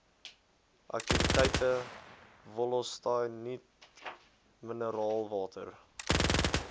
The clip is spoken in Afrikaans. aktiwiteite wollostonite mineraalwater